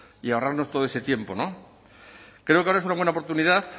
y ahorrarnos todo ese tiempo creo que ahora es una buena oportunidad